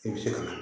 I bɛ se ka